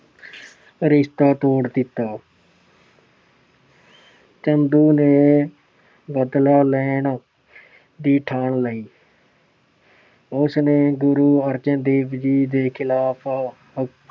ਰਿਸ਼ਤਾ ਤੋੜ ਦਿੱਤਾ। ਚੰਦੂ ਨੇ ਬਦਲਾ ਲੈਣ ਦੀ ਠਾਣ ਲਈ। ਉਸ ਨੇ ਗੁਰੂ ਅਰਜਨ ਦੇਵ ਜੀ ਦੇ ਖਿਲਾਫ ਆਹ